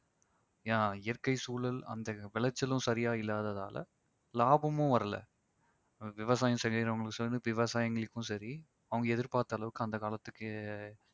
ஆஹ் இயற்கை சூழல் அந்த விளைச்சலும் சரியா இல்லாததால லாபமும் வரல. விவசாயம் செய்யறவங்களுக்கும் சரி விவசாயிங்களுக்கும் சரி அவங்க எதிர்பார்த்த அளவுக்கு அந்த காலத்துக்கு